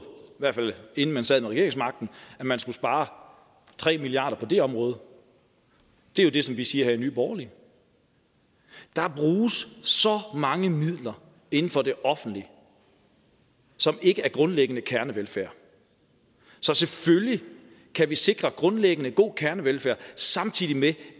hvert fald inden man sad med regeringsmagten at man skulle spare tre milliard kroner på det område det er det som vi siger her i nye borgerlige der bruges så mange midler inden for det offentlige som ikke er grundlæggende kernevelfærd så selvfølgelig kan vi sikre grundlæggende god kernevelfærd samtidig med